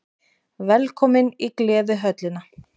Velkomin í Gleðihöllina!